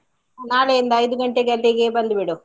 ನಾಳೆಯಿಂದ ಐದು ಗಂಟೆಗೆ ಅಲ್ಲಿಗೆ ಬಂದು ಬಿಡು.